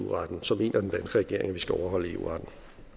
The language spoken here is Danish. eu retten så mener den danske regering at vi skal overholde eu retten